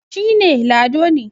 shi ne Lado ne